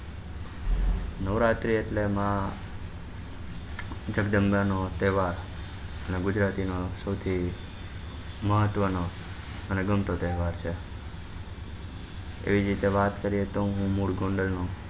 નવરાત્રી એટલે માં જગદંબા નો તહેવાર અને ગુજરાતી નો સૌથી મહત્વ નો અને ગમતો તહેવાર છે એ જ રીતે વાત કરીએ તો હું મૂળ ગોંડલ નો